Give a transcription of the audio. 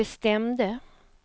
bestämde